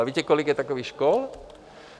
A víte, kolik je takových škol?